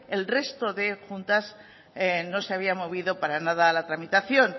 el resto de juntas no se había movido para nada a la tramitación